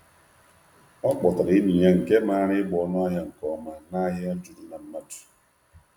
O kpọtara enyi ya nke maara ịgba ọnụahịa nke ọma n’ahịa juru na mmadụ.